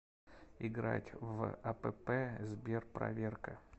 играть в апп сберпроверка